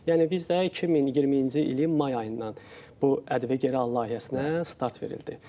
Yəni biz də 2020-ci ilin may ayından bu ƏDV geri al layihəsinə start verildi.